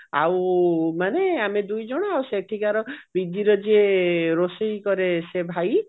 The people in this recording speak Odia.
ଆଉ ମାନେ ଆମେ ଦୁଇଜଣ ଆଉ ସେଠିକାର PG ରେ ଯିଏ ରୋଷେଇ କରେ ସେଇ ଭାଇ